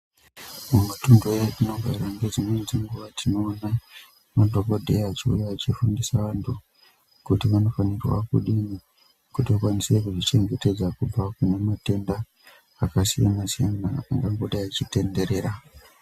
Mumatuntu etinogara ngedzimweni dzenguwa tinoona madhokodheya achiuya achifundisa vantu kuti vanofanirwa kudini kuti vakwanise kuzvichengetedza kunematenda akasiyana-siyana angangodai echitenderera.